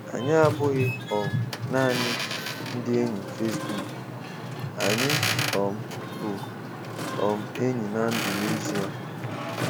Anyị abụghị um naanị ndị enyi Facebook, anyị um bụ um enyi na ndụ n'ezie.